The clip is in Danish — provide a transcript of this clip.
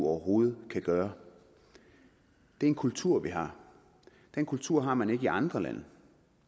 overhovedet kan gøre det er en kultur vi har den kultur har man ikke i andre lande og